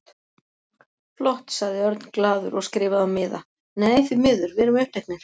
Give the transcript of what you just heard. Flott sagði Örn glaður og skrifaði á miða: Nei, því miður, við erum uppteknir